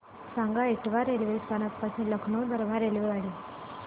सांगा इटावा रेल्वे स्थानक पासून लखनौ दरम्यान रेल्वेगाडी